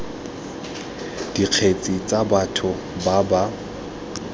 dikgetse tsa batho ba ba